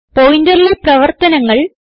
പോയിന്ററിലെ പ്രവർത്തനങ്ങൾ